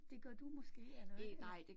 Det gør du måske eller hvad?